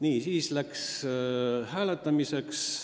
Edasi läks hääletamiseks.